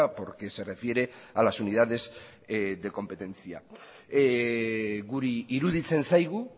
porque se refiere a las unidades de competencia guri iruditzen zaigu